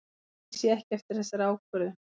Ég sé ekki eftir þessari ákvörðun.